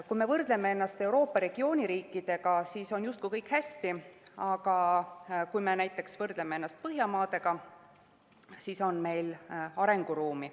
Kui me võrdleme ennast Euroopa regiooni riikidega, siis on justkui kõik hästi, aga kui me võrdleme ennast näiteks Põhjamaadega, siis on meil arenguruumi.